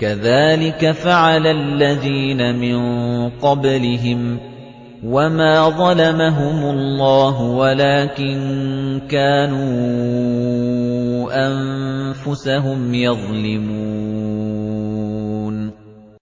كَذَٰلِكَ فَعَلَ الَّذِينَ مِن قَبْلِهِمْ ۚ وَمَا ظَلَمَهُمُ اللَّهُ وَلَٰكِن كَانُوا أَنفُسَهُمْ يَظْلِمُونَ